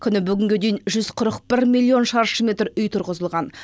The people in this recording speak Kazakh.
күні бүгінге дейін жүз қырық бір миллион шаршы метр үй тұрғызылған